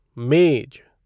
मेज